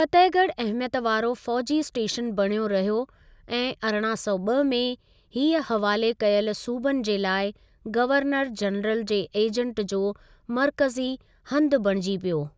फतेहॻढ अहमियत वारो फ़ौजी स्टेशन बणियो रहियो ऐं अरिड़हां सौ ॿ में हीअ हवाले कयलु सूबनि जे लाई गवर्नर जनरल जे एजेंट जो मरक़ज़ी हंधु बणिजी पियो।